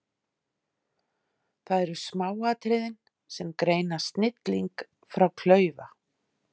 Það eru smáatriðin sem greina snilling frá klaufa.